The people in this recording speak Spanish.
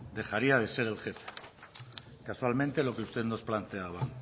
dejaría de ser el jefe casualmente lo que usted nos planteaba